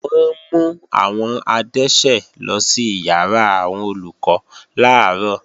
Wọ́n mú àwọn adẹ́ṣẹ̀ lọ sí ìyàrá àwọn Olùkọ́ làárọ̀